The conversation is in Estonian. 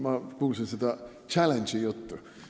Ma kuulsin seda challenge'i juttu.